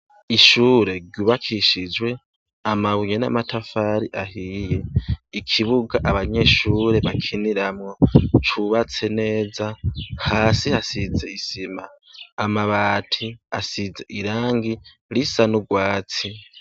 Ishure ryubakishijwe amabuye n'amatafari ahiye ikibuga abanyeshure bakiniramwo cubatse neza hasi hasize isima amabati asize irangi risa n'urwatsi.